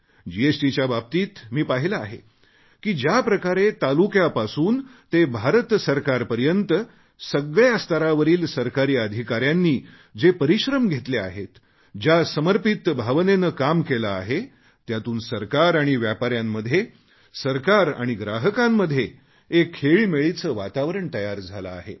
जीएसटीच्या बाबतीत मी पाहिले आहे की ज्याप्रकारे तालुक्यापासून ते भारतसरकारपर्यंत सगळ्या स्तरावरील सरकारी अधिकाऱ्यांनी जे परिश्रम घेतले आहेत ज्या समर्पित भावनेने काम केले आहे त्यातून सरकार आणि व्यापाऱ्यांमध्ये सरकार आणि ग्राहकांमध्ये एक खेळीमेळीचे वातावरण तयार झाले आहे